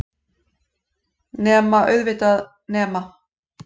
Nema, auðvitað. nema.